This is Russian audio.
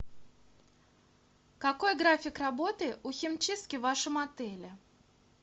какой график работы у химчистки в вашем отеле